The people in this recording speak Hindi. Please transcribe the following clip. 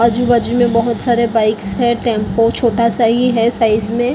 आजू बाजू में बहुत सारे बाइक्स है टेम्पो छोटा सा ही है साइज़ में मशीन भी --